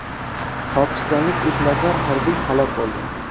Pokistonlik uch nafar harbiy halok bo‘ldi.